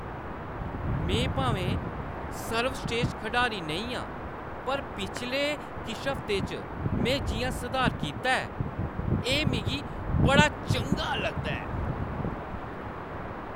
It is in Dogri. में भामें सर्वस्रेश्ठ खढारी नेईं आं, पर पिछले किश हफ्तें च में जिʼयां सधार कीता ऐ, एह् मिगी बड़ा चंगा लगदा ऐ।